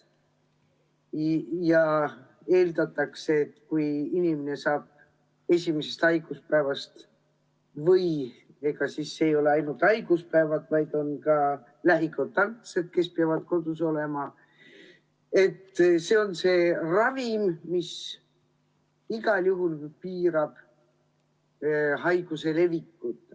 Eeldatakse, et kui inimene saab raha esimesest haiguspäevast – ja ega need ei olegi ainult haiged, kes peavad kodus olema, vaid on ka lähikontaktsed –, siis see on justkui ravim, mis igal juhul piirab haiguse levikut.